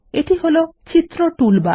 এটি হলো চিত্র টুলবার